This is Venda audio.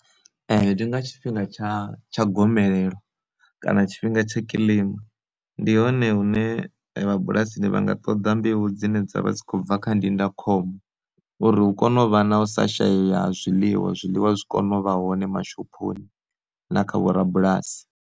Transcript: Ndi nga tshifhinga tsha tsha gomelelo kana tshifhinga tsha kilima, ndi hone hune vha bulasini vhanga ṱoḓa mbeu dzine dzavha dzi kho bva kha ndindakhombo, uri hu kone u vha na u sa shayeya ha zwiḽiwa zwiḽiwa zwi kone u vha hone ma shophoni na kha vho ra bulasi.